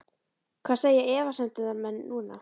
Hvað segja efasemdarmenn núna??